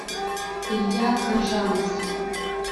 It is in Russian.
илья хржановский